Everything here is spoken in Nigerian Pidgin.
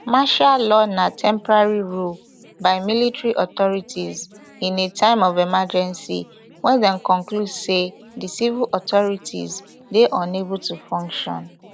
martial law na temporary ruleby military authorities in a time of emergency wen dem conclude say di civil authorities dey unable to function